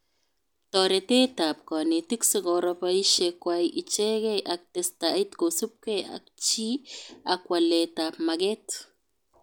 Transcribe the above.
Toretetab konetik sikoro boishekwai ichekee ak testait kosubke ak chi ak waletab maget